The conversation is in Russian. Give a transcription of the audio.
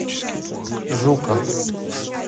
жуков